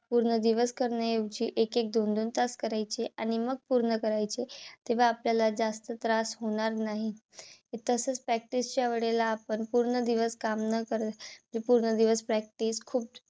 पूर्ण दिवस करण्याऐवजी एक एक दोन दोन तास करायचे आणि मग पूर्ण करायचे. तेव्हा आपल्याला जास्त त्रास होणार नाही. व तसच practice च्या वेळेला आपण पूर्ण दिवस काम न करता. पूर्ण दिवस practice खूपच